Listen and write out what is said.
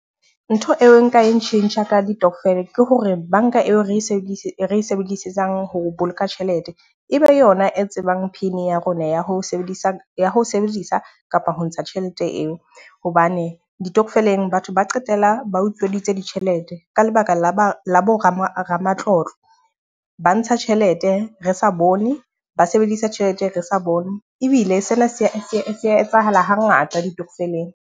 Ntho eo nka e tjhentjha ka ditokofele ke hore banka eo re e sebedise e sebedisang ho boloka tjhelete, e be yona e tsebang pin ya rona ya ho sebedisang ya ho sebedisa kapa ho ntsha tjhelete eo. Hobane ditokofeleng batho ba qetela ba utsweditse ditjhelete, ka lebaka la ba la bo ramatlotlo. Ba ntsha tjhelete re sa bone, ba sebedisa tjhelete re sa bone. Ebile sena se a ya etsahala ha ngata ditokofeleng.